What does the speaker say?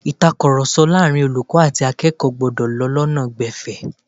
Ìtàkurọ̀sọ láàárín olùkọ́ àti akẹ́kọ̀ọ́ gbọ́dọ̀ lọ lọ́nà gbẹ̀fẹ̀